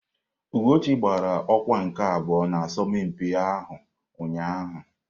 Ugochi gbara ọkwa nke abụọ n'asọmpi ahụ ụnyahụ.